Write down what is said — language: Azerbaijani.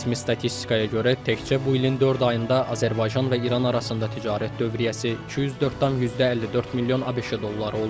Rəsmi statistikaya görə, təkcə bu ilin dörd ayında Azərbaycan və İran arasında ticarət dövriyyəsi 204,54 milyon ABŞ dolları olub.